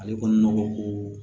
Ale ko nɔgɔ ko